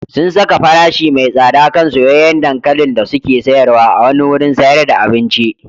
Sun saka farashi mai tsada kan soyayyen dankalin da suke sayarwa a wani wurin sayar da abinci.